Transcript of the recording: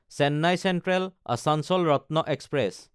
Chennai চেন্ট্ৰেল–আচাঞ্চল Ratna express